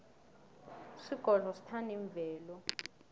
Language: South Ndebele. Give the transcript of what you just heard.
isigodlo sithanda imvelo